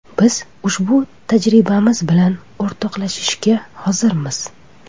Biz ushbu tajribamiz bilan o‘rtoqlashishga hozirmiz.